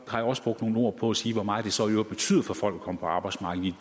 har jeg også brugt nogle ord på at sige hvor meget det så i øvrigt betyder for folk at komme på arbejdsmarkedet